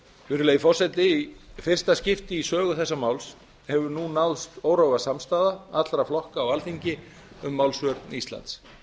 virðulegi forseti í fyrsta skipti í sögu þessa máls hefur nú náðst órofa samstaða allra flokka á alþingi um málsvörn íslands